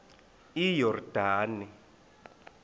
iyordane